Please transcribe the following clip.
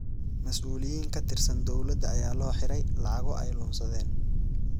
Mas’uuliyiin ka tirsan dowladda ayaa loo xiray lacago ay luunsadeen.